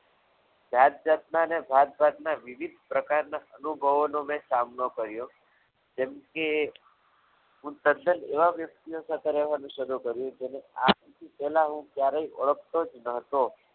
જાતજાતના અને ભાતભાતના વિવિધ પ્રકારના અનુભવોનો મેં સામનો કર્યો જેમ કે હું તદ્દન એવા વ્યક્તિઓ સાથે રહેવાનું શરૂ કર્યું કરવું પડ્યું કે આજ સુધી પહેલા હું ક્યારે ઓળખતો જ ન હતો